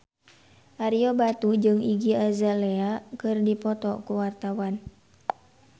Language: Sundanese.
Ario Batu jeung Iggy Azalea keur dipoto ku wartawan